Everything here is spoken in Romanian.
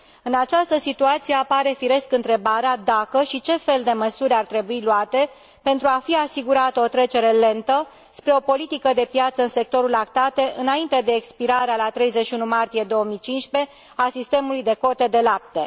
În această situație apare firesc întrebarea dacă și ce fel de măsuri ar trebui luate pentru a fi asigurată o trecere lentă spre o politică de piață în sectorul lactate, înainte de expirarea, la 31 martie 2015, a sistemului de cote de lapte.